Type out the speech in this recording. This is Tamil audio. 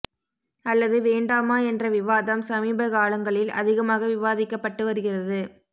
அல்லது வேண்டாமா என்ற விவாதம் சமீபகாலங்களில் அதிகமாக விவாதிக்கப்பட்டு வருகிறது